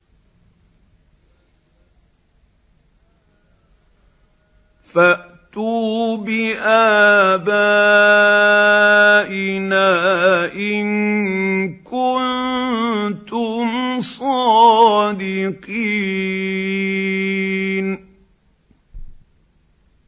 فَأْتُوا بِآبَائِنَا إِن كُنتُمْ صَادِقِينَ